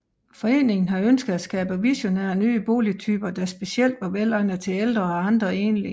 Foreningen har ønsket at skabe visionære nye boligtyper der specielt var velegnede til ældre og andre enlige